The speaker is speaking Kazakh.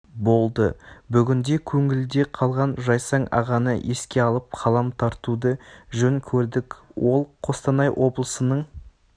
болды бүгінде көңілде қалған жайсаң ағаны еске алып қалам тартуды жөн көрдік ол қостанай облысының